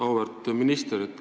Auväärt minister!